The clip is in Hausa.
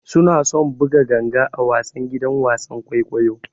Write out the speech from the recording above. Suna son buga ganga a wasan gidan wasan kwaikwayo.